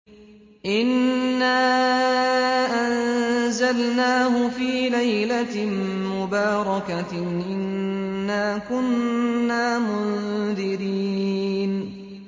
إِنَّا أَنزَلْنَاهُ فِي لَيْلَةٍ مُّبَارَكَةٍ ۚ إِنَّا كُنَّا مُنذِرِينَ